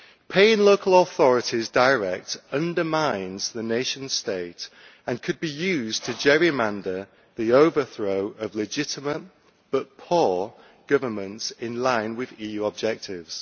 Paying local authorities directly undermines the nation state and could be used to gerrymander the overthrow of legitimate, but poor, governments pursuing EU objectives.